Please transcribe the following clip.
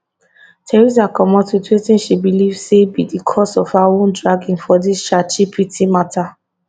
theresa comot wit wetin she believe say be di cause of her own dragging for dis chatgpt mata